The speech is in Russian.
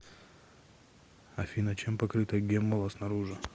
афина чем покрыта геммула снаружи